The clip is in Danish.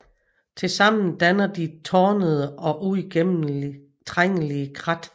Tilsammen danner de tornede og uigennemtrængelige krat